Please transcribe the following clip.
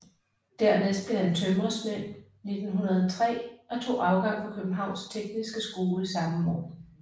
Dernæst blev han tømrersvend 1903 og tog afgang fra Københavns Tekniske Skole samme år